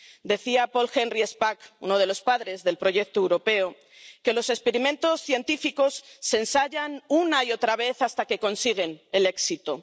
Decía Paul Henri Spaak, uno de los padres del proyecto europeo, que los experimentos científicos se ensayan una y otra vez hasta que consiguen el éxito.